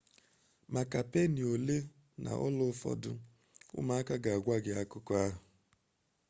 maka peeni ole na ola ụfọdụ ụmụaka ga-agwa gị akụkọ ahụ